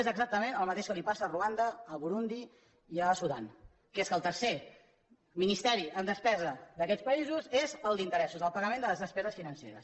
és exactament el mateix que els passa a ruanda a burundi i a sudan que és que el tercer ministeri en despesa d’aquests països són els interessos el pagament de les despeses financeres